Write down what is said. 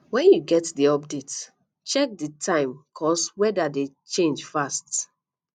when you get di update check di time cause weda dey change fast